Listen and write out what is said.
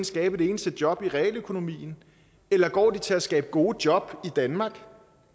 skabe et eneste job i realøkonomien eller går de til at skabe gode job i danmark